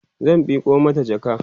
zan Miko mata jaka